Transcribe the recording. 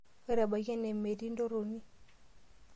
Ore ebaiki ene metii entoroni.